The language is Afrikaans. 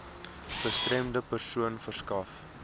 gestremde persone verskaf